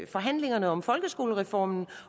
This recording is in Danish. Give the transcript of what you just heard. forhandlingerne om folkeskolereformen